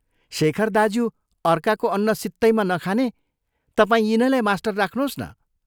शेखर दाज्यू अर्काको अन्न सित्तैमा नखाने तपाई यिनैलाई मास्टर राख्नोस् न।